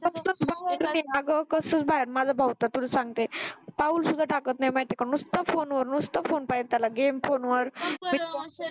कसलं बाहेर माझा भाऊ तर तुला सांगते पाऊल सुद्धा टाकत नाही माहिती आहे का नुसतं फोनवर नुसतं फोन पाहिजे त्याला game फोनवर